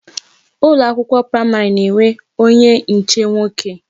Ụlọ akwụkwọ praịmarị na-enwe onye nche nwoke